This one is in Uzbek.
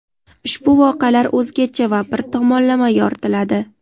ushbu voqealar "o‘zgacha" va bir tomonlama yoritiladi.